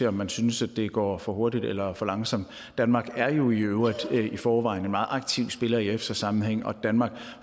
om man synes at det går for hurtigt eller langsomt danmark er jo i øvrigt i forvejen en meget aktiv spiller i efsa sammenhæng og danmark